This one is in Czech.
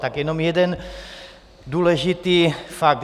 Tak jenom jeden důležitý fakt.